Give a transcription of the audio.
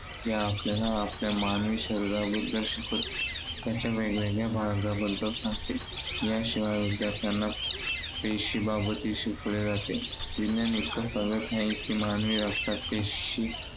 जे आपल्याला आपल्या मानवी शरीराबद्दल शिकवते. त्याच्या वेगवेगळ्या भागांबद्दल सांगतो. याशिवाय विद्यार्थ्यांना पेशीबाबतही शिकवले जाते. विज्ञान इतकं प्रगत आहे की, मानवी रक्तात पेशी